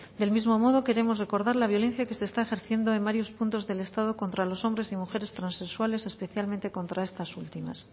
del mismo queremos recordar la violencia que se está ejerciendo en varios puntos del estado contra los hombres y mujeres transexuales especialmente contras estas últimas